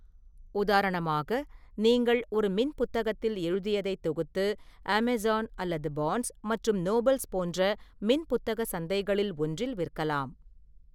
உதாரணமாக, நீங்கள் ஒரு மின்புத்தகத்தில் எழுதியதைத் தொகுத்து அமேசான் அல்லது பார்ன்ஸ் மற்றும் நோபல்ஸ் போன்ற மின்புத்தக சந்தைகளில் ஒன்றில் விற்கலாம்.